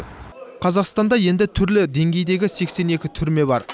қазақстанда енді түрлі деңгейдегі сексен екі түрме бар